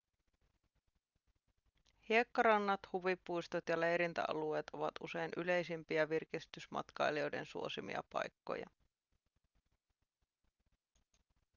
hiekkarannat huvipuistot ja leirintäalueet ovat usein yleisimpiä virkistysmatkailijoiden suosimia paikkoja